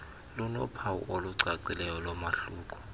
linophawu olucacileyo lomahluko